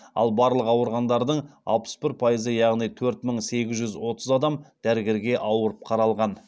ал барлық ауырғандардың алпыс бір пайызы яғни төрт мың сегіз жүз отыз адам дәрігерге ауырып қаралған